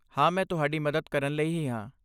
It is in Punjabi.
ਹਾਂ, ਮੈਂ ਤੁਹਾਡੀ ਮਦਦ ਕਰਨ ਲਈ ਹੀ ਹਾਂ।